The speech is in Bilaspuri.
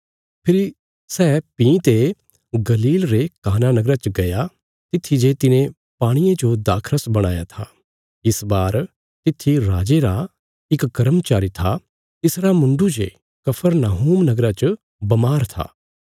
फेरी सै भीं ते गलील रे काना नगरा च गया तित्थी जे तिने पाणिये जो दाखरस बणाया था इस बार तित्थी राजे रा इक कर्मचारी था तिसरा मुण्डु जे कफरनहूम नगरा च बमार था